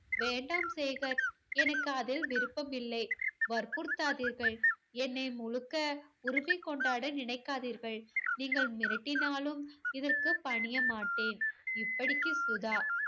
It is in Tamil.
வேண்டாம் சேகர். எனக்கு அதில் விருப்பமில்லை. வற்புறுத்தாதீர்கள். என்னை முழுக்க உரிமை கொண்டாட நினைக்காதீர்கள். நீங்கள் மிரட்டினாலும் இதற்கு பணியமாட்டேன். இப்படிக்கு சுதா.